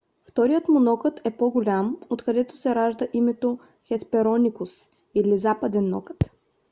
вторият му нокът е по-голям откъдето се ражда името хеспероникус или западен нокът